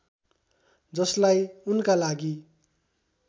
जसलाई उनका लागि